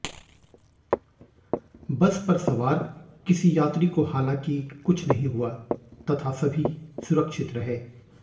बस पर सवार किसी यात्री को हलांकि कुछ नहीं हुआ तथा सभी सुरक्षित रहे